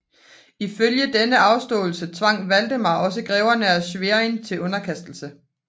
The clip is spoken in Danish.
Ifølge denne afståelse tvang Valdemar også greverne af Schwerin til underkastelse